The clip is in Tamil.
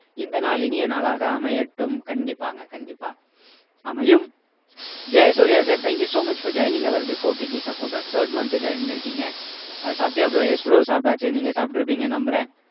இந்த நாள் இனிய நாளாக அமையட்டும் கண்டிப்பாங்க கண்டிப்பா அமையும் Jayasurya sir thank you so much for joining our before TT supporters third month join பண்ணிருக்கீங்க சாப்பிட்டியா bro yes bro சாப்பிட்டாச்சு நீங்க சாப்பிட்டிருப்பீங்கன்னு நம்புறேன்